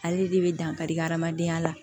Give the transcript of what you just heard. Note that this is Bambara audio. Ale de bɛ dankari adamadenya la